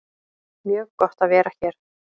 Mjög gott að vera hér